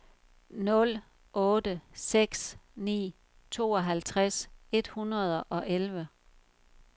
nul otte seks ni tooghalvtreds et hundrede og elleve